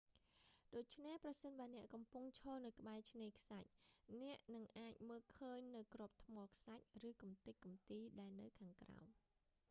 ដូច្នេះ ប្រសិនបើអ្នកកំពុងឈរនៅក្បែរឆ្នេរខ្សាច់ អ្នកនឹងអាចមើលឃើញនូវគ្រាប់ថ្មខ្សាច់ ឬកំទេចកំទីដែលនៅខាងក្រោម